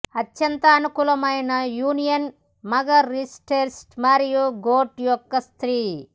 అత్యంత అనుకూలమైన యూనియన్ మగ రూస్టెర్ మరియు గోట్ యొక్క స్త్రీ